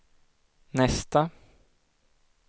nästa